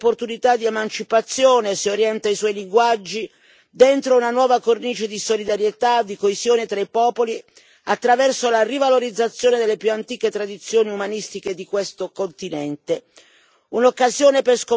La cultura è una straordinaria opportunità di emancipazione, se orienta i suoi linguaggi dentro una nuova cornice di solidarietà, di coesione tra i popoli, attraverso la rivalorizzazione delle più antiche tradizioni umanistiche di questo continente.